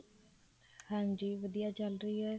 ਹਾਂਜੀ ਵਧੀਆ ਚੱਲ ਰਹੀ ਹੈ